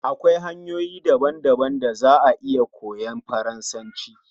Akwai hanyoyi daban daban da za a iya koyan Faransanci